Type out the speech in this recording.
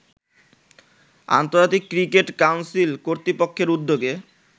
আন্তর্জাতিক cricket council কর্তৃপক্ষের উদ্যোগে